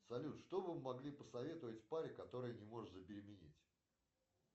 салют что вы могли посоветовать паре которая не может забеременеть